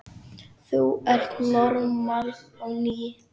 Þú ert normal á ný.